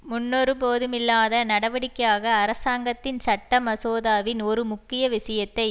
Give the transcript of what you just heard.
முன்னொருபோதுமில்லாத நடவடிக்கையாக அரசாங்கத்தின் சட்ட மசோதாவின் ஒரு முக்கிய விஷயத்தை